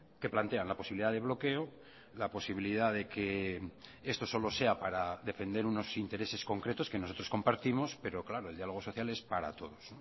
que plantean la posibilidad de bloqueo la posibilidad de que esto solo sea para defender unos intereses concretos que nosotros compartimos pero claro el diálogo social es para todos